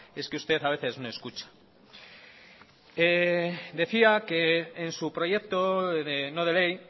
es que usted a veces no escucha decía que en su proyecto no de ley